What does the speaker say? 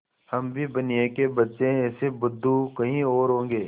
हम भी बनिये के बच्चे हैं ऐसे बुद्धू कहीं और होंगे